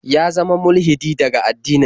Ya zama mulhidi daga addinin.